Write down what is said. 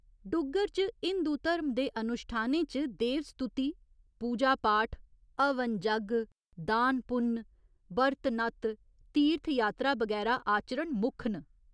डुग्गर च हिंदु धर्म दे अनुश्ठानें च देव स्तुति, पूजा पाठ हवन जग्ग, दान पुन्न, ब्रत नत्त, तीर्थ यात्रा बगैरा आचरण मुक्ख न।